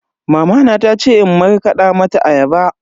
Mamana ta ce in markada mata ayaba.